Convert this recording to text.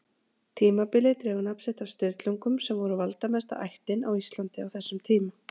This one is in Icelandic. Tímabilið dregur nafn sitt af Sturlungum sem voru valdamesta ættin á Íslandi á þessum tíma.